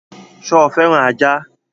Sọ fẹ́ràn ajá?